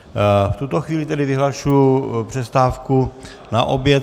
V tuto chvíli tedy vyhlašuji přestávku na oběd.